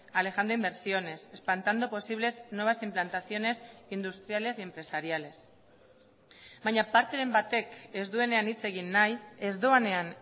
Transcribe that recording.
alejando inversiones espantando posibles nuevas implantaciones industriales y empresariales baina parteren batek ez duenean hitz egin nahi ez doanean